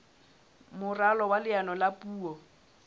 moralo wa leano la puo